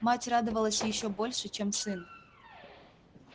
мать радовалась ещё больше чем сын